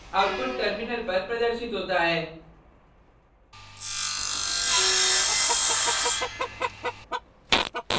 output terminal पर प्रदर्शित होता है